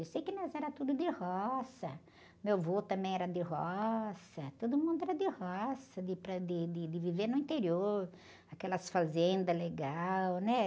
Eu sei que nós era tudo de roça, meu vô também era de roça, todo mundo era de roça, de ir para, de, de, de viver no interior, aquelas fazendas legais, né?